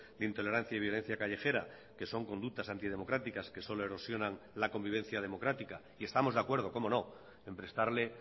de intolerancia y violencia callejera que son conductas antidemocráticas que solo erosionan la convivencia democrática y estamos de acuerdo cómo no en prestarle